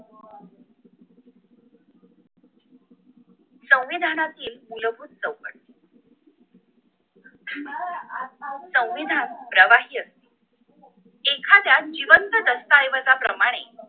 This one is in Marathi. संविधानातील मूलभूत चौकट संविधान प्रवाहय असते एखाद्दा जिवंत दस्ताऐवज प्रमाणे